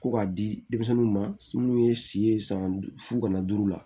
Ko k'a di denmisɛnninw ma minnu ye si ye san fu kana dugu la